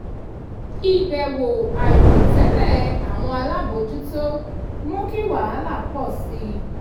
ìbẹ̀wò àìròtẹ́lẹ̀ àwọn alábòjútó mú kí wahala pọ̀ sí i